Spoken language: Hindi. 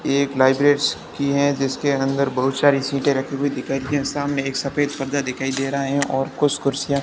एक लाइब्रेंडस की है जिसके अंदर बहुत सारी सिटे रखी हुई दिखाई हैं सामने एक सफेद पर्दा दिखाई दे रहा हैं और कुछ कुर्सियां--